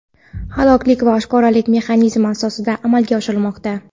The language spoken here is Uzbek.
halollik va oshkoralik mexanizmi asosida amalga oshirilmoqda.